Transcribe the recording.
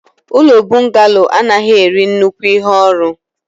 ụlọ bọngalo anaghị eri nnukwu ihe orụ.